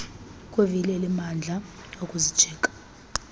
kwivili elinamandla okuzijika